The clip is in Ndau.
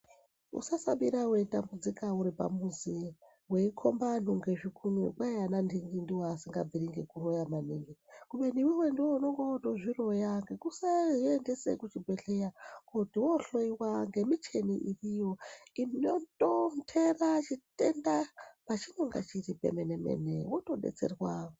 Usasabira weitambudzika uripamuzi weikomba antu ngezvikunwe kwai ana nhingi ndoasingabviri ngekuroya maningi kubeni iwewe ndiwe unonga wotozviroya ngekusazviendesa kuchibhedhlera kuti wohloiwa ngemichini iriyo inotonderw chitenda pachinonga chiri pemene mene wotodetserwa.